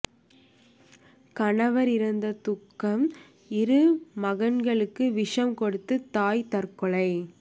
கணவர் இறந்த துக்கம் இரு மகன்களுக்கு விஷம் கொடுத்து தாய் தற்கொலை